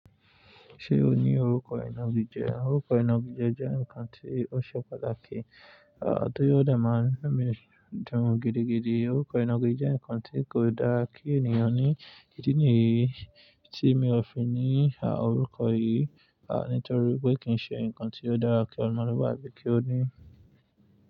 Ṣé o ní orúkọ ìnagijẹ? Orúkọ ìnagijẹ jẹ́ ǹkan tí ó ṣe pàtàkì, à tí ó dẹ̀ máa ń mú mi dùn gidigidi. Orúkọ ìnagijẹ jẹ́ ǹkan tí kò dára kí ènìyàn ní. Kíni tí mi ò fi ní à orúkọ yìí, à nítorí pé kì í ṣe ǹkan tí ó dára kí ọmọlúwàbí kí ó ní.